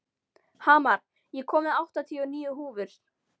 Hamar, ég kom með áttatíu og níu húfur!